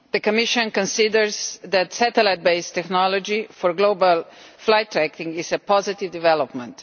The Commission considers that satellite based technology for global flight tracking is a positive development.